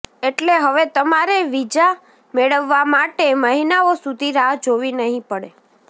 એટલે હવે તમારે વીજા મેળવવા માટે મહિનાઓ સુધી રાહ જોવી નહિ પડે